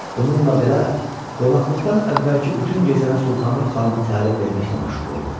Bununla belə, qonaqlıqdan əvvəlki bütün gecəni Sultanım xanıma təlim verməklə məşğul oldu.